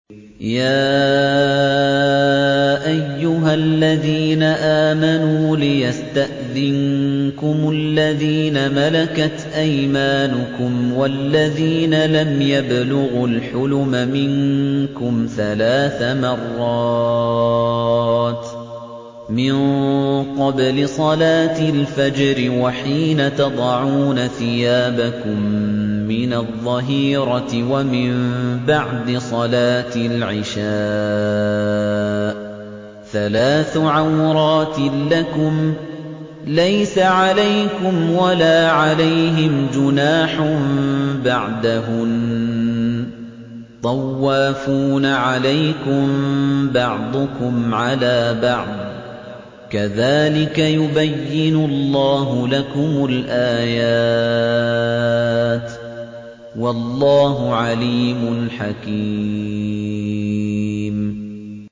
يَا أَيُّهَا الَّذِينَ آمَنُوا لِيَسْتَأْذِنكُمُ الَّذِينَ مَلَكَتْ أَيْمَانُكُمْ وَالَّذِينَ لَمْ يَبْلُغُوا الْحُلُمَ مِنكُمْ ثَلَاثَ مَرَّاتٍ ۚ مِّن قَبْلِ صَلَاةِ الْفَجْرِ وَحِينَ تَضَعُونَ ثِيَابَكُم مِّنَ الظَّهِيرَةِ وَمِن بَعْدِ صَلَاةِ الْعِشَاءِ ۚ ثَلَاثُ عَوْرَاتٍ لَّكُمْ ۚ لَيْسَ عَلَيْكُمْ وَلَا عَلَيْهِمْ جُنَاحٌ بَعْدَهُنَّ ۚ طَوَّافُونَ عَلَيْكُم بَعْضُكُمْ عَلَىٰ بَعْضٍ ۚ كَذَٰلِكَ يُبَيِّنُ اللَّهُ لَكُمُ الْآيَاتِ ۗ وَاللَّهُ عَلِيمٌ حَكِيمٌ